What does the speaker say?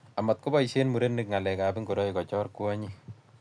amatkoboisie murenik ng'alekab ngoroik kochoor kwonyik